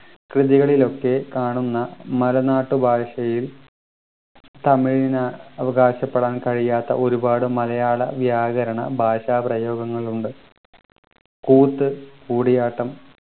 കൃതികളിലൊക്കെ കാണുന്ന മലനാട്ടുഭാഷയിൽ തമിഴിന് അവകാശപ്പെടാൻ കഴിയാത്ത ഒരുപാട് മലയാള വ്യാകരണ ഭാഷാ പ്രയോഗങ്ങളുണ്ട് കൂത്ത് കൂടിയാട്ടം